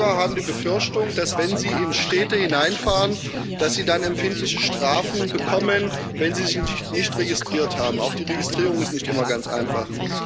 Viele Bürger haben die Befürchtung, dass, wenn sie in Städte hineinfahren, sie dann empfindliche Strafen bekommen, wenn sie sich nicht registriert haben. Auch die Registrierung ist nicht immer ganz einfach.